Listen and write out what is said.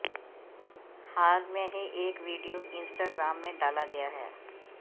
हाल में ही एक वीडियो इस्ट्राग्राम में डाला गया है